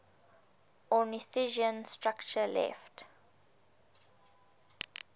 ornithischian structure left